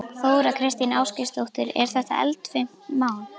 Þóra Kristín Ásgeirsdóttir: Er þetta eldfimt mál?